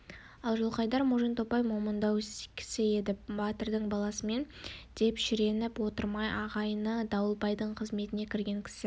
ал жылқайдар можантомпай момындау кісі еді батырдың баласымын деп шіреніп отырмай ағайыны дауылбайдың қызметіне кірген кісі